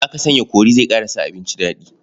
Haka sanya kori zai ƙara sa abinci daɗi.